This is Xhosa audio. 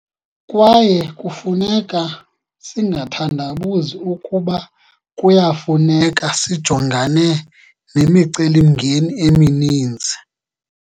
Kwaye kufuneka singathandabuzi ukuba kuya kuyafuneka sijongane nemicelimngeni emininzi.